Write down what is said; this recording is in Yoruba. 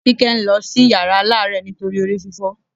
Kíkẹ́ ń lọ sí yàrá aláàárẹ̀ nítorí orí fífọ́